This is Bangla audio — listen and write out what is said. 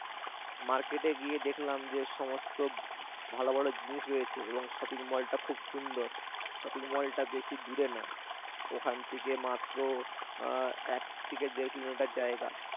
মার্কেটে গিয়ে দেখলাম যে সমস্ত ভালো ভালো জিনিস রয়েছে এবং shopping mall টা খুব সুন্দর shopping mall টা বেশি দূরে না, ওখান থেকে মাত্র আহ এক থেকে দেড় কিলোমিটার জায়গা